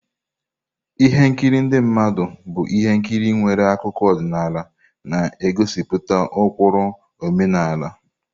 Ihe nkiri ndị mmadụ bụ ihe nkiri nwere akụkọ ọdịnala na-egosipụta ụkpụrụ omenala.